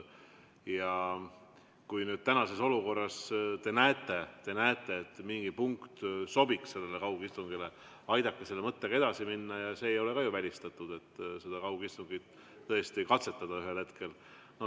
Kui nüüd tänases olukorras te näete, et mingi punkt sobiks sellele kaugistungile, siis palun aidake selle mõttega edasi minna ja see ei ole ju välistatud, et seda kaugistungit tõesti katsetada ühel hetkel.